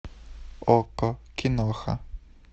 окко киноха